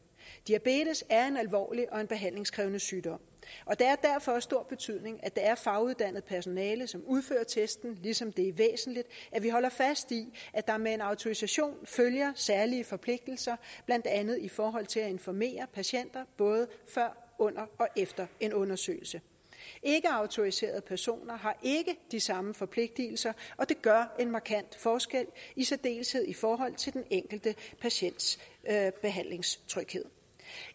diabetes er en alvorlig og en behandlingskrævende sygdom og det er derfor af stor betydning at det er faguddannet personale som udfører testen ligesom det er væsentligt at vi holder fast i at der med en autorisation følger særlige forpligtelser blandt andet i forhold til at informere patienterne både før under og efter en undersøgelse ikkeautoriserede personer har ikke de samme forpligtigelser og det gør en markant forskel i særdeleshed i forhold til den enkelte patients behandlingstryghed